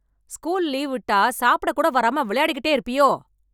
School leave விட்டா சாப்பிட கூட வராம விளையாடிகிட்டே இருப்பியோ?